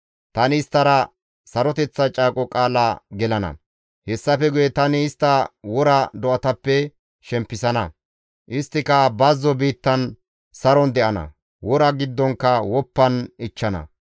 « ‹Tani isttara saroteththa caaqo qaala gelana; hessafe guye tani istta wora do7atappe shempisana; isttika bazzo biittan saron de7ana; wora giddonkka woppan ichchana.